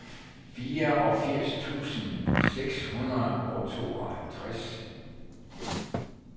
fireogfirs tusind seks hundrede og tooghalvtreds